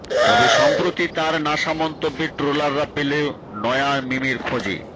তবে সম্প্রতি তাঁর নাসা মন্তব্যে ট্রোলাররা পেল নয়া মিমের খোঁজে